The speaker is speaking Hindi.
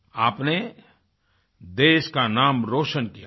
आपने देश का नाम रोशन किया है